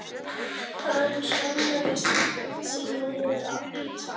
Hann skammaðist sín niður í tær.